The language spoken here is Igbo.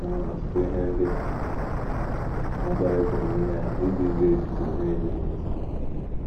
E nwere ọtụtụ ihe ndị ọzọ ị pụrụ ime iji jụ echiche na - ezighị ezi.